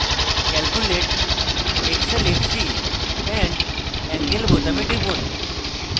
calculate xl xc and angle বোতামে টিপুন